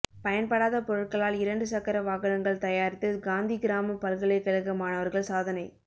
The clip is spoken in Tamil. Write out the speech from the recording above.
பயன்படாத பொருட்களால் இரண்டு சக்கர வாகனங்கள் தயாரித்து காந்திகிராம பல்கலைகழக மாணவர்கள் சாதனை